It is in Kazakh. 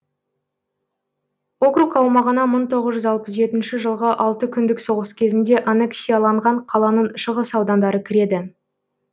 округ аумағына мың тоғыз алпыс жетінші жылғы алты күндік соғыс кезінде аннексияланған қаланың шығыс аудандары кіреді